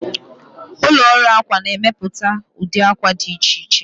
Ụlọ ọrụ akwa na-emepụta ụdị akwa dị iche iche.